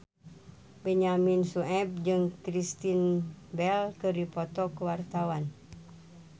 Benyamin Sueb jeung Kristen Bell keur dipoto ku wartawan